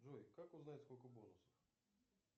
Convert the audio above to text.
джой как узнать сколько бонусов